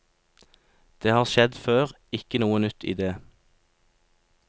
Det har skjedd før, ikke noe nytt i det.